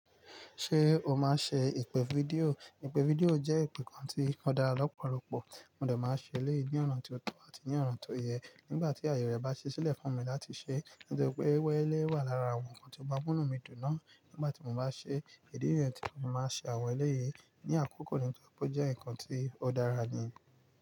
Ṣé o máa ń ṣe ìpè fídíò? Ìpè fídíò jẹ́ ìpè kan tí ó dára lọ́pọ̀lọpọ̀. Mo dà máa ń ṣe eléyìí ní ọ̀na ti o tọ́ àti ní ọ̀ná ti ó yẹ nígbà tí àyè rẹ̀ bá ṣẹ́ sílẹ̀ fún mi láti ṣe. Nítorí pé irú eléyìí wà lára àwọn nǹkan tí ó ma n múnú mi dùn náà. Nígbà tí mo bá ṣe èdí irẹ́ti, mo máa ṣe àwọn eléyìí ní àkókò nítorí pé ó jẹ́ nǹkan tí ó dára ni.